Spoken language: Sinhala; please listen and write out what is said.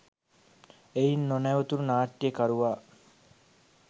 එයින් නොනැවතුණ නාට්‍යකරුවා